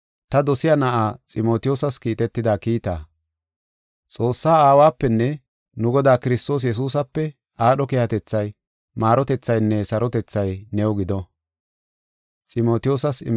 ta dosiya na7aa Ximotiyoosas kiitetida kiita. Xoossaa Aawapenne nu Godaa Kiristoos Yesuusape aadho keehatethay, maarotethaynne sarotethay new gido.